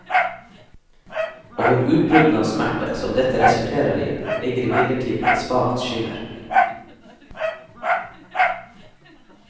Over utbruddene av smerte, som dette resulterer i, ligger imidlertid et svakt skimmer.